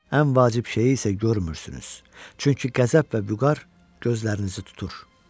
Ən vacib şeyi isə görmürsünüz, çünki qəzəb və vüqar gözlərinizi tutur.